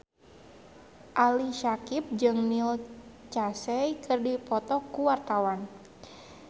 Ali Syakieb jeung Neil Casey keur dipoto ku wartawan